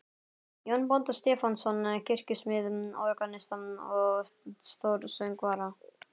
Jón bónda Stefánsson, kirkjusmið, organista og stórsöngvara.